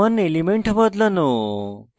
বর্তমান element বদলানো